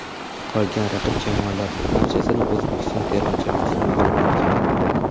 Qolgan raqib jamoalarning barchasini O‘zbekiston termasi mag‘lub etgan.